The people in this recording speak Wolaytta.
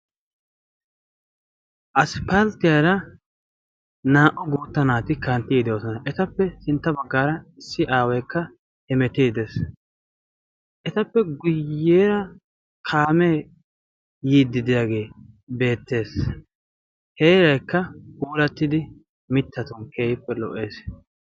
asippalttiyaara naa''u guutta naati kantti yiide oosona etappe sintta baggaara issi aaweekka hemetii dees etappe guyyeera kaamee yiiddi diyaagee beettees heeraikka guurattidi mitta ton keeyiippe lo''ees